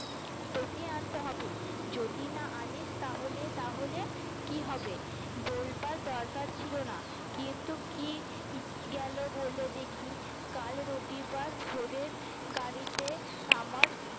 তোকে আনতে হবে যদি না আনিস তাহলে তাহলে কি হবে বলবার দরকার ছিল না কিন্তু কি গেলো বলে দেখি কাল রবিবার ভোরের গাড়িতে আমার